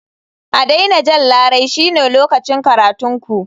A daina jan larai shine lokacin karatun ku.